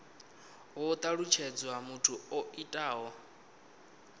ho talutshedzwa muthu o itaho